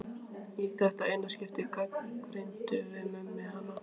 Í þetta eina skipti gagnrýndum við Mummi hana.